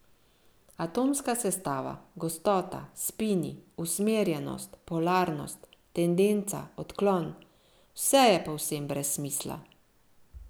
Atomska sestava, gostota, spini, usmerjenost, polarnost, tendenca, odklon, vse je povsem brez smisla.